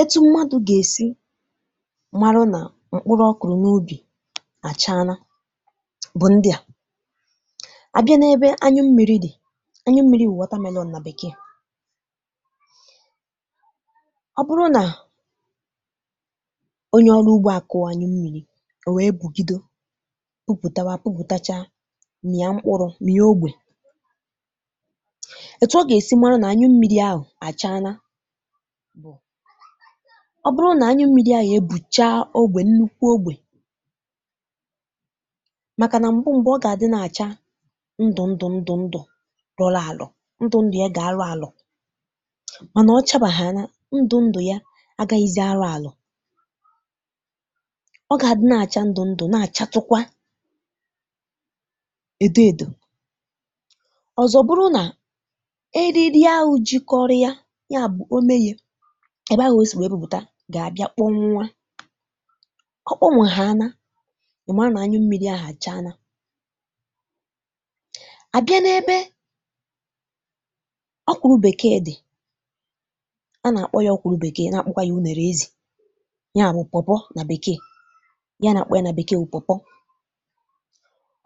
Etu mmadụ ga-esi marụ na mkpụrụ ọ kụrụ n'ubi a chaana bụ ndị a: a bịa n'ebe anyụ́mmiri dị, anyụmmiri bụ watermelon na bekee. Ọ bụrụ na onye ọrụ ugbo a kụọ anyụmmiri, o wee pụgido puputawa puputachaa, mịa mkpụrụ mịa ógbè, etu ọ ga-esi mara na anyụmmiri ahụ a chaana bụ, ọ bụrụ na anyụmmiri ahụ ebuchaa ogbe nnukwu ogbe. Makana mbụ mbụ ọ ga-adị na-acha ndụ ndụ ndụ ndụ lọlọ alọ, ndụ ndụ ya ga-alọ alọ̀. Mana ọ chabaghaana, ndụ ndụ ya agaghịzị alọ alọ̀. Ọ ga adị nagacha ndụ ndụ na-achatụkwa edo edò. Ọzọ bụrụ na eriri ahụ jikọrụ ya, yabụ ómé ye, ebe ahụ o si wee puputa ga-abịa kpọnwụa. Ọ kpọnwụhaana, ị mara na anyụmmiri ahụ a chaana. A bịa n'ebe ọkwụrụ bekee dị, a na-akpọ ya ọkwụrụ bekee na-akpọkwa ya unere ezì, nya bụ pawpaw na bekee, ihe a na-akpọ ya na bekee wụ pawpaw.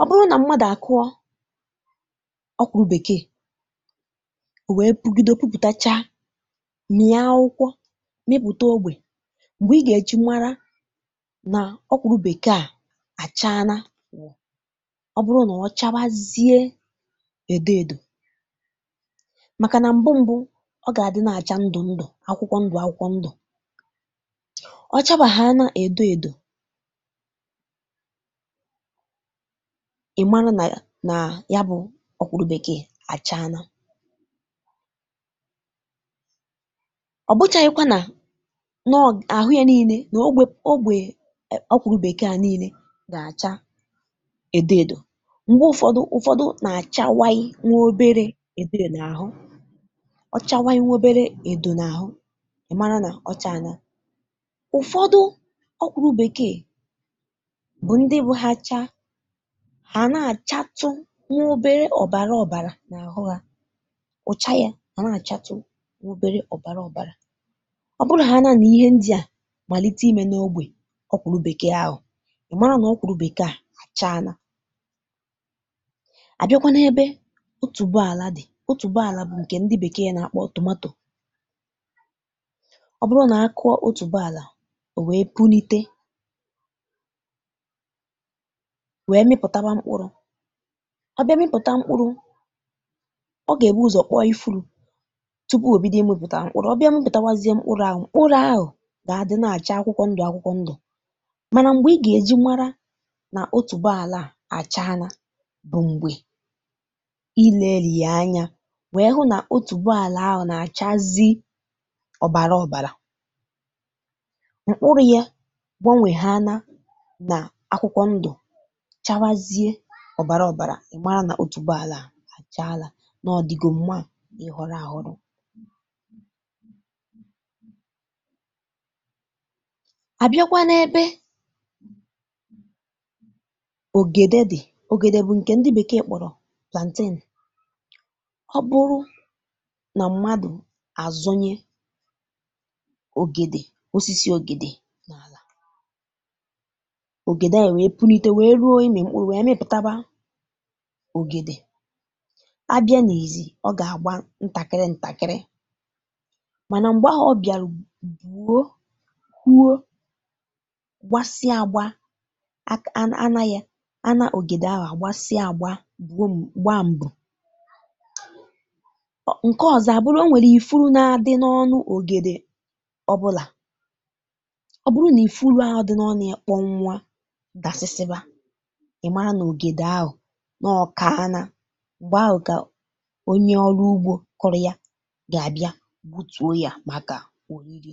Ọ bụrụ na mmadụ a kụọ ọkwụrụ bekee o wee pugide puputachaa, mịa aụkwọ mịpụta ógbè, mgbe ị ga-eji mara na ọkwụrụ bekee a achaaana bụ ọ bụrụ na ọ chabazie edo edo. Makana mbụ mbụ ọ ga-adị na-acha ndụ ndụ akwụkwọ ndụ akwụkwọ ndụ. Ọ chabaghaana edo edo, ịmarụ na na yabụ ọkwụrụ bekee achaaana. Ọ bụchaghị̀kwa na nọ́ ahụ ya niine na ogbé ogbé ọkwụrụ bekee a niine ga-acha edo edo. Mgbe ụfọdụ ụfọdụ na-achawaị nwa obere edo n'ahụ ọ chawaị nwa obere edo n'ahụ, ị mara na ọ chaana. Ụfọdụ ọkwụrụ bekee bụ ndị bụ ha chaa, ha a na-achatụ obere ọbara ọbara n'ahụ ha. Ụ̀cha ya a na-achatụ nwa obere ọbara ọbara. Ọ bụrụghaana na ihe ndị a malite ime n'ogbe ọkwụrụ bekee ahụ, ị mara na ọkwụrụ bekee achaaana. A bịakwa n'ebe otuboala dị. Otuboala bụ nke ndị bekee na-akpọ tomato. Ọ bụrụ na a kụọ otuboala o wee punite wee mịpụtawa mkpụrụ. Ọ bịa mịpụtawa mkpụrụ, ọ ga-ebu ụzọ kpụọ ifuru tupu o bido ịmịpụta mkpụrụ. Ọ bịa mịpụtawazịa mkpụrụ ahụ mkpụrụ ahụ ga-adị na-acha akwụkwọ ndụ akwụkwọ ndụ mana mgbe ị ga-eji mara na otuboala a achaana bụ mgbe ileri ya anya wee hụ na otuboala ahụ na-achazi ọbara ọbara. Mkpụrụ ya gbanweghaana na akwụkwọ ndụ chawazie ọbara ọbara ị mara na otuboala a achaala, na ọ dịgo mma ị ghọrọ aghọrọ. A bịakwa n'ebe ogede dị, ogedw bụ nke ndị bekee kpọrọ plantain, ọ bụrụ na mmadụ azụnye ogede osisi ogede n'ala, ogede ahụ wee punite wee ruo ịmị mkpụrụ wee mịpụtawa, a bịa n'izizi ọ ga-adị ntakịrị ntakịrị, mana mgbe ahụ ọ bịaru buo, puo, gbasịa agba at a ana ya ana ogede ahụ a gbasịa agba buom gbaa mbù. Ọ nke ọzọ a bụrụ o nwere ìfú na-adị n'ọnụ ogede ọbụla. Ọ bụrụ na ifuru ahụ dị n'ọnụ ya kpọnwụa dasịsịba, ị mara na ogede ahụ nọọ kaana. Mgbe ahụ ka onye ọrụ ugbo kụrụ ya ga-abịa gbutuo ya maka oriri.